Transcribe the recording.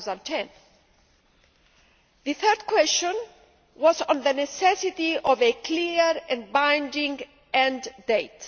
2010. The third question was on the necessity of a clear and binding end date.